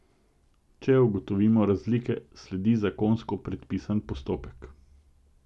Če ugotovimo razlike, sledi zakonsko predpisan postopek.